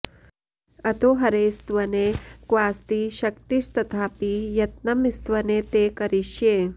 अतो हरे स्तवने क्वास्ति शक्तिस्तथापि यत्नं स्तवने ते करिष्ये